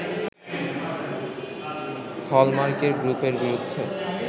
হলমার্কের গ্রুপের বিরুদ্ধে